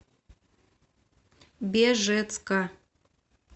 бежецка